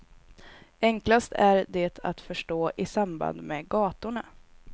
Enklast är det att förstå i samband med gatorna.